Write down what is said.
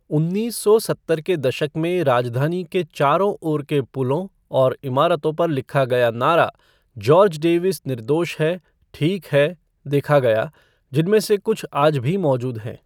उन्नीस सौ सत्तर के दशक में राजधानी के चारों ओर के पुलों और इमारतों पर लिखा गया नारा जॉर्ज डेविस निर्दोष है, ठीक है देखा गया, जिनमें से कुछ आज भी मौजूद हैं।